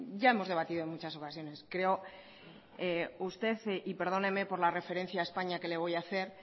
ya hemos debatido en muchas ocasiones creo que usted y perdóneme por la referencia a españa que le voy a hacer